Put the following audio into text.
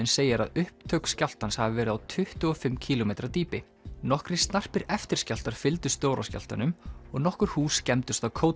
segir að upptök skjálftans hafi verið á tuttugu og fimm kílómetra dýpi nokkrir snarpir eftirskjálftar fylgdu stóra skjálftanum og nokkur hús skemmdust á